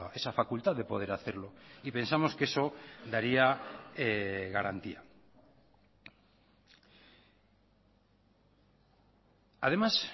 esa facultad de poder hacerlo y pensamos que eso daría garantía además